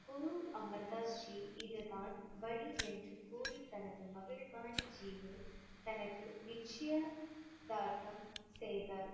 குரு அமிர் தாஸ் ஜி இதுதான் வழி என்று கூறி தனது மகள் பாணி ஜியை தனக்கு நிச்சயதார்த்தம் செய்தார்.